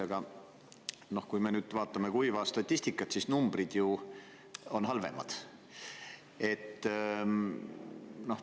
Aga kui me nüüd vaatame kuiva statistikat, siis numbrid on ju üha halvemad.